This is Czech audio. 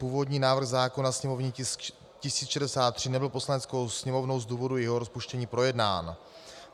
Původní návrh zákona, sněmovní tisk 1063, nebyl Poslaneckou sněmovnou z důvodu jejího rozpuštění projednán.